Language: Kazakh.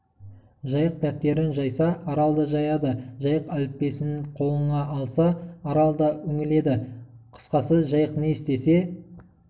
жайық дәптерін жайса арал да жаяды жайық әліппесінқолына алса арал да үңіледі қысқасы жайық не істесе